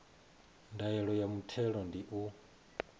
ndaela ya muthelo ndi u